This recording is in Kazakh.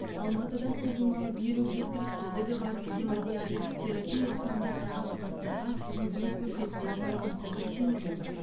алматыда созылмалы бүйрек жеткіліксіздігі бар гемодиализ терапиясына мұқтаж науқастарға қызмет көрсетілетінін атап өткен жөн